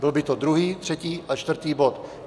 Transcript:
Byl by to druhý, třetí a čtvrtý bod.